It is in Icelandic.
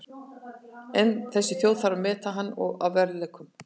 En þessi þjóð þarf að meta hann að verðleikum.